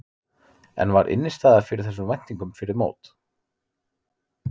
En var innistæða fyrir þessum væntingum fyrir mót?